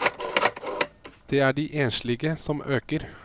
Det er de enslige som øker.